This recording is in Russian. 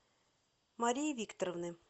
марии викторовны